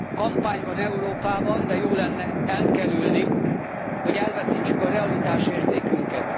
Kampány van Európában, de jó lenne elkerülni, hogy elveszítsük a realitásérzékünket.